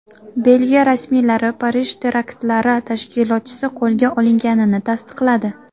Belgiya rasmiylari Parij teraktlari tashkilotchisi qo‘lga olinganini tasdiqladi.